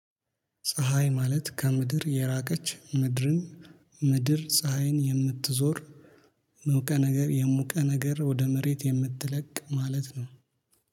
ፀሀይ ማለት ከምድር የራቀች ምድርን ምድር ፀሀይን የምትዞር የሞቀ ነገር የሞቀ ነገር ወደ መሬት የምትለቅ ማለት ነው